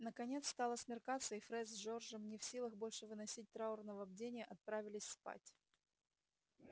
наконец стало смеркаться и фред с джорджем не в силах больше выносить траурного бдения отправились спать